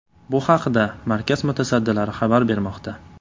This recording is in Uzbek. Bu haqda markaz mutasaddilari xabar bermoqda.